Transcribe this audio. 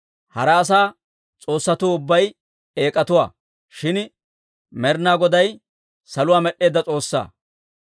Hara asaa s'oossatuu ubbay eek'atuwaa; shin Med'inaa Goday saluwaa med'd'eedda S'oossaa.